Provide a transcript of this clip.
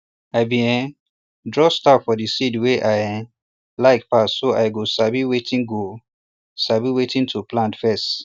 i bin um draw star for de seed wey i um like pass so i go sabi wetin go sabi wetin to plant first